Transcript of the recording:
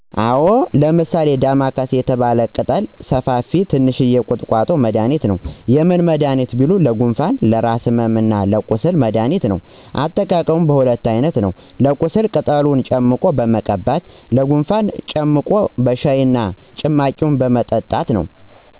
አወ ለምሳሌ ዳማካሴ የተባለ ቅጠለ ሰፍፊ ትንሽየ ቁጥቆጦ መድኃኒት ነው። የምን መዳኒት ቢሉ ለጉንፍን ለራስ ህመምና ለቁስል መድኃኒት ነው አጠቃቀሙም በሁለት አይነት ነው ለቁስል ቅጠሉን ጨምቆ በመቀባት ሲሆን ለጉንፍን እና ጨምቆ በሻይ እና ጭማቂውን በመጠጣት ነው